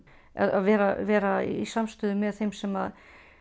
að vera vera í samstöðu með þeim sem